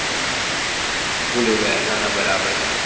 હમ ભૂલી ગયા ના ના બરાબર